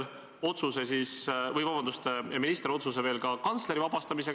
Me räägime sellest, et meile on näha, kuidas mingitel puhkudel süstemaatiliselt ei algatata asju.